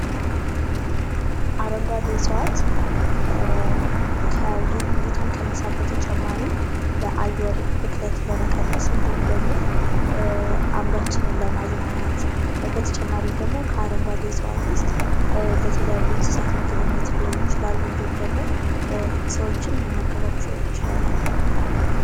የተለያዩ የአፈር ዓይነቶች ለእጽዋት እድገት የተለያየ ተስማሚነት ያላቸው ሲሆን፣ የተመጣጠነ ምግብ አቅርቦት ወሳኝ ነው